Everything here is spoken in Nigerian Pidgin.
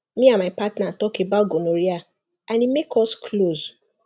me and my partner talk about gonorrhea and e make us close